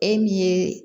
E min ye